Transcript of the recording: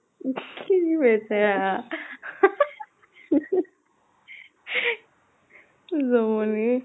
বেচেৰা জমনি